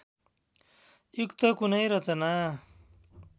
युक्त कुनै रचना